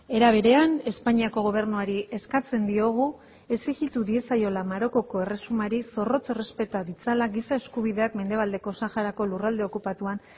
era berean espainiako gobernuari eskatzen diogu exijitu diezaiola marokoko erresumari zorrotz errespeta ditzala giza eskubideak mendebaldeko saharako lurralde okupatuan